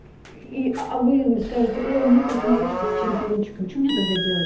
и а вы скажете мне форс-мажор всех телефончика мне тогда делать